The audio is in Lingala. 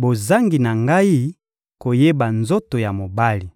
bozangi na ngai koyeba nzoto ya mobali.